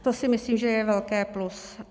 To si myslím, že je velké plus.